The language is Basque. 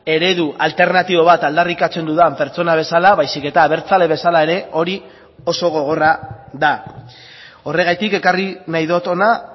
eredu alternatibo bat aldarrikatzen dudan pertsona bezala baizik eta abertzale bezala ere hori oso gogorra da horregatik ekarri nahi dut hona